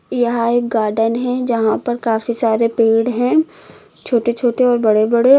यहा पर एक गार्डन है जहां पर काफी सारे पेड़ हैं छोटे छोटे और बड़े बड़े।